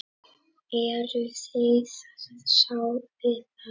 Eruð þið sátt við það?